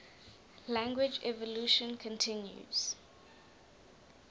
language evolution continues